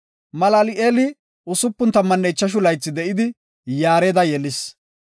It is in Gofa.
Malal7eeli 65 laythi de7idi, Yaareda yelis.